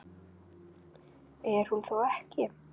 Er hún þá ekki.?